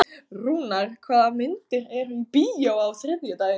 Rúnar, hvaða myndir eru í bíó á þriðjudaginn?